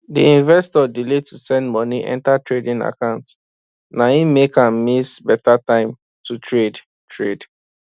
d investor delay to send money enter trading account na him make am miss better time to trade trade